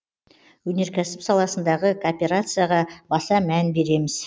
өнеркәсіп саласындағы кооперацияға баса мән береміз